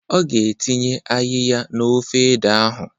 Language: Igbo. Ọ ga-etinye ayịya n'ofe ede ahụ